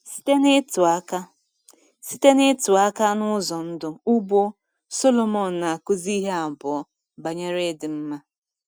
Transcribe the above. Site n’ịtụ aka Site n’ịtụ aka n’ụzọ ndụ ugbo, Sọlomon na-akụzi ihe abụọ banyere ịdị mma.